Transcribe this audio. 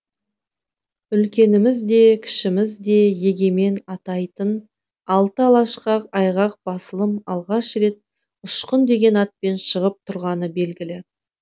үлкеніміз де кішіміз де егемен атайтын алты алашқа айғақ басылым алғаш рет ұшқын деген атпен шығып тұрғаны белгілі